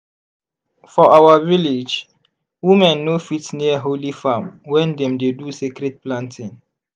for our village women no fit near holy farm when dem dey do sacred planting.